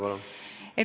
Palun!